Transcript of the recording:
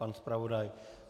Pan zpravodaj?